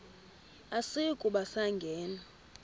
asiyi kuba sangena